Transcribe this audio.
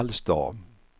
Vallsta